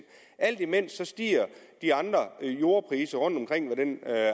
alt imens stiger de andre jordpriser rundtomkring og den